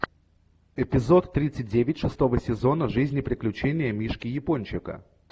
эпизод тридцать девять шестого сезона жизнь и приключения мишки япончика